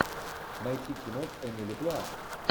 найти кино с эмили блант